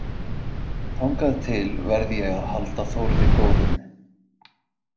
Þangað til verð ég að halda Þórði góðum.